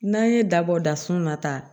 N'an ye dabɔ dasun na tan